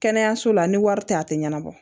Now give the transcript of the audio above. Kɛnɛyaso la ni wari tɛ a tɛ ɲɛnabɔ